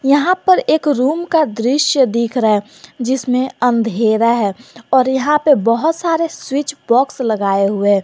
यहां पर एक रूम का दृश्य दिख रहा है जिसमें अंधेरा है और यहां पे बहुत सारे स्विच बॉक्स लगाए हुए हैं।